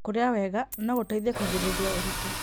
Kũrĩa wega no ũteithie kũgirĩrĩria ũritũ.